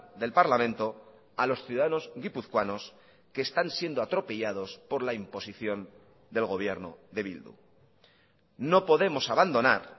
del parlamento a los ciudadanos guipuzcoanos que están siendo atropellados por la imposición del gobierno de bildu no podemos abandonar